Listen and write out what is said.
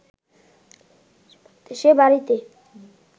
সে বাড়িতে